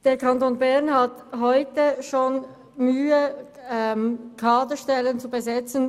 Der Kanton Bern hat bereits heute Mühe, vakante Kaderstellen zu besetzen.